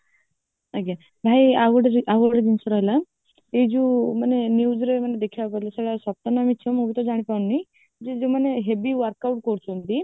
ଆଜ୍ଞା ଭାଇ ଆଉ ଗୋଟେ ଜିନିଷ ରହିଲା ଏଇ ଯୋଉ ମାନେ newsରେ ମାନେ ଦେଖିବାକୁ ମିଳେ ସେଗୁଡା ସତ ନା ମିଛ ମୁଁ ବି ତ ଜାଣିପାରେ ନି ଯେ ଯେଉମାନେ heavy workout କରୁଛନ୍ତି